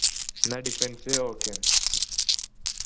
എന്നാ defence okay